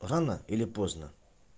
рано или поздно